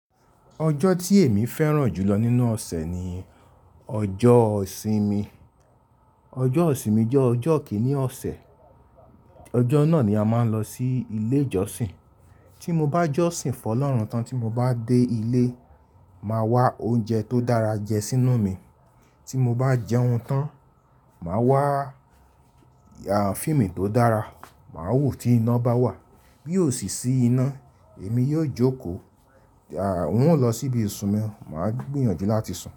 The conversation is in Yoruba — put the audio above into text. Ọjọ́ tí èmi fẹ́ràn jù lọ nínú ọ̀sẹ̀ ni ọjọ́ ìsinmi. Ọjọ́ ìsinmi jẹ́ ọjọ́ kíní ọ̀sẹ̀. Ọjọ́ náà ni a máa ń lọ sí ilé ìjọsìn. Tí mo bá jọ́sìn fún ọlọ́run tán tí mo bá dé ilé, màá wá oúnjẹ tó dára jẹ sí inú mi tí mo bá jẹun tán, màá wá fíìmù tó dára, màá wò tí iná bá wà. Bí òṣìṣí iná, èmi yóò jókòó. Mo ó lọ síbi ìsun mi, màá gbìyànjú láti sùn.